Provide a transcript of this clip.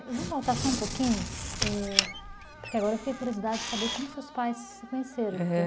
Vamos voltar só um pouquinho, é, porque agora eu fiquei com curiosidade de saber como seus pais se conheceram, aham.